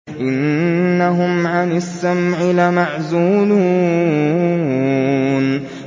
إِنَّهُمْ عَنِ السَّمْعِ لَمَعْزُولُونَ